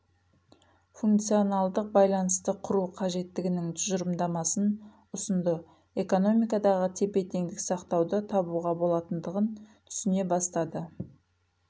функционалдық байланысты құру қажеттілігінің тұжырымдасын ұсынды экономикадағы тепе-теңдікті сақтауды табуға болатындығын түсіне бастады